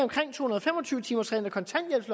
fem og tyve timersreglen